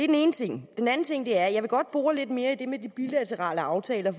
den ene ting den anden ting er at jeg godt vil bore lidt mere i det med de bilaterale aftaler